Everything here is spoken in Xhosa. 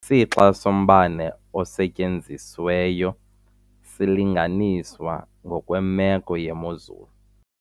Isixa sombane osetyenzisiweyo silinganiswa ngokwemeko yemozulu.